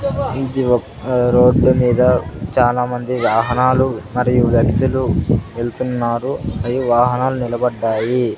ఇది ఒక్క రోడ్డు మీద చాలామంది వాహనాలు మరియు వ్యక్తులు వెళ్తున్నారు అవి వాహనాలు నిలబడ్డాయి.